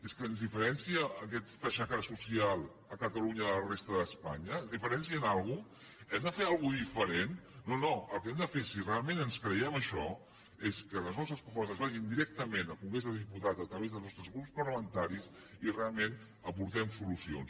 és que ens diferencia aquesta xacra social catalunya de la resta d’espanya ens diferencia en alguna cosa hem de fer alguna cosa diferent no no el que hem de fer si realment ens creiem això és que les nostres propostes vagin directament al congrés dels diputats a través dels nostres grups parlamentaris i realment aportem solucions